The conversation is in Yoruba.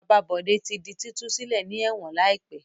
Bàbá Bọ̀dé tí di títú sílẹ̀ ní ẹ̀wọ̀n láìpẹ́.